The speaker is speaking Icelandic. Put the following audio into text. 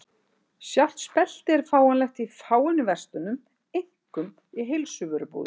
Sjálft speltið er fáanlegt í fáeinum verslunum, einkum í heilsuvörubúðum.